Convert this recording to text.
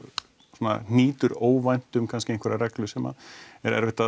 svona hnýtur óvænt um kannski einhverja reglu sem er erfitt að